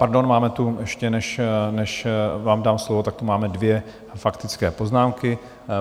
Pardon, máme tu ještě, než vám dám slovo, tak tu máme dvě faktické poznámky.